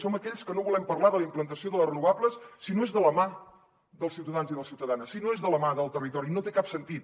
som aquells que no volem parlar de la implantació de les renovables si no és de la mà dels ciutadans i de les ciutadanes si no és de la mà del territori no té cap sentit